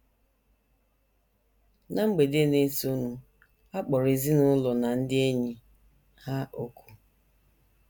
Ná mgbede na - esonụ a kpọrọ ezinụlọ na ndị enyi ha òkù.